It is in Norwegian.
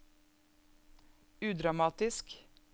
udramatisk